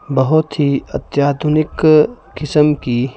बहुत ही अत्याधुनिक किस्म की--